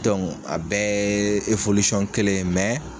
a bɛ kelen ye